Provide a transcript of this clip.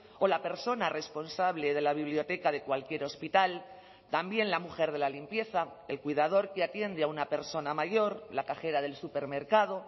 o la persona responsable de la biblioteca de cualquier hospital también la mujer de la limpieza el cuidador que atiende a una persona mayor la cajera del supermercado